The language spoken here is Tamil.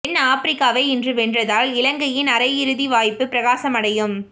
தென் ஆபிரிக்காவை இன்று வென்றால் இலங்கையின் அரை இறுதி வாய்ப்பு பிரகாசமடையும்